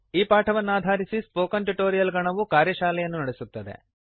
ಈ ಪಾಠವನ್ನಾಧರಿಸಿ spoken tutorial ನ ಗಣವು ಕಾರ್ಯಶಾಲೆಯನ್ನು ನಡೆಸುತ್ತದೆ